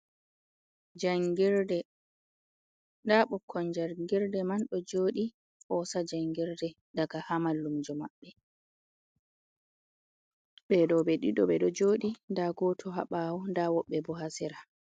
Jangirde nda ɓukkon jargirde man ɗo joɗi hosa jangirde daga ha mallumjo maɓɓe, ɓeɗo ɓe ɗiɗo ɓeɗo jodi, nda goto habawo, nda woɓɓe bo ha sera.